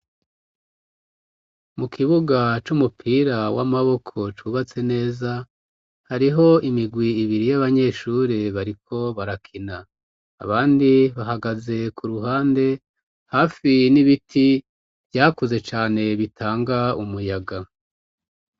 Mu kibuga c'umupira w'amaboko cubatse neza, hariho imigwi ibiri y'abanyeshure bariko barakina, abandi bahagaze ku ruhande hafi n'ibiti vyakuze cane bitanga umuyaga.